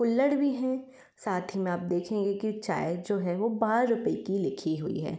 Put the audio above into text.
कुल्हड़ भी है साथ ही में आप देखेंगे कि चाय जो है बारह रुपये की लिखी हुई है।